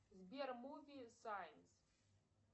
сбер муви сайнс